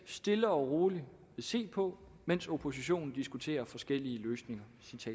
stille og roligt se på mens oppositionen diskuterer forskellige løsninger